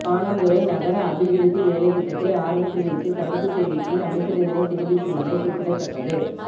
பாணந்துறை நகர அபிவிருத்தி வேலைத்திட்டத்தை ஆரம்பித்து வைத்து கருத்துத் தெரிவிக்கையில் அமைச்சர் இதனைக் தெரிவித்துள்ளமை குறிப்பிடத்தக்கது